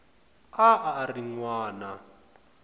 a a ri n wana